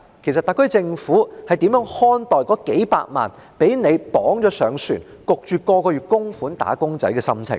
其實，特區政府如何看待那數百萬被政府捆綁在船上，每個月被強迫供款的"打工仔"的心情？